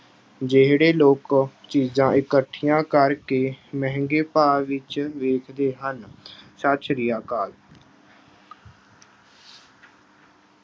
ਜਿਹੜੇ ਲੋਕ ਚੀਜ਼ਾਂ ਇਕੱਠੀਆਂ ਕਰਕੇ ਮਹਿੰਗੇ ਭਾਅ ਵਿੱਚ ਵੇਚਦੇ ਹਨ ਸਤਿ ਸ੍ਰੀ ਅਕਾਲ।